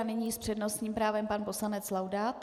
A nyní s přednostním právem pan poslanec Laudát.